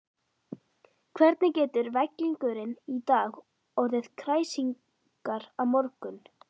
Hvernig getur vellingurinn í dag orðið kræsingar á morgun?